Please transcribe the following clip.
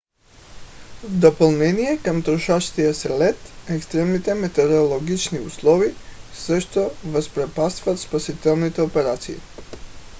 в допълнение към трошащия се лед екстремните метеорологични условия също възпрепятстват спасителните операции